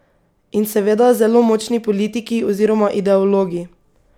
In seveda zelo močni politiki oziroma ideologi.